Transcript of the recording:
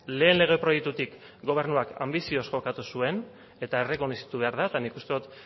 lehen lege proiektutik gobernuak anbizioz jokatu zuen eta errekonozitu behar da eta nik uste dut